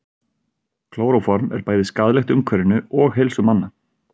klóróform er bæði skaðlegt umhverfinu og heilsu manna